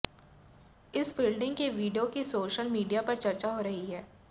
इस फील्डिंग के वीडियो की सोशल मीडिया पर चर्चा हो रही है